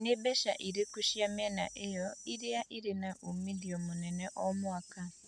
Nĩ mbeca irĩkũ cia mĩena ĩyo ĩĩrĩ irĩ na uumithio mũnene mũno o mwaka